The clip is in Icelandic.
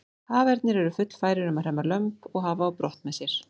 Hafernir eru fullfærir um að hremma lömb og hafa á brott með sér.